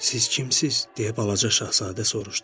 Siz kimsiz, deyə balaca Şahzadə soruşdu?